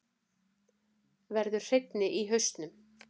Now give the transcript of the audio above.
Verður hreinni í hausnum.